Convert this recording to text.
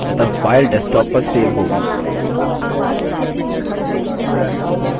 अतः file desktop पर so होगी